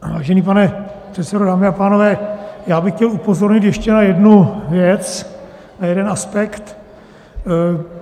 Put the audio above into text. Vážený pane předsedo, dámy a pánové, já bych chtěl upozornit ještě na jednu věc a jeden aspekt.